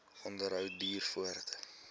onderhou duur voort